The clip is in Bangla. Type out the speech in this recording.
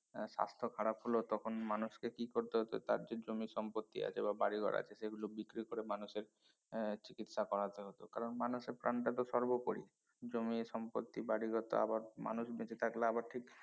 আহ স্বাস্থ্য খারাপ হল তখন মানুষকে কি করতে হত তার যে জমি সম্পত্তি আছে বা বাড়িঘর আছে সেগুলো বিক্রি করে মানুষের এর চিকিৎসা করাতে হত কারন মানুষের প্রাণটা তো সর্বপরি জমি সম্পত্তি বাড়িঘর তো আবার মানুষ বেঁচে থাকলে আবার ঠিক